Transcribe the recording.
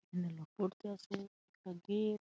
এখানে লোক পড়তে আসে একটা গেট ।